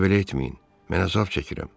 Bir də belə etməyin, mən əzab çəkirəm.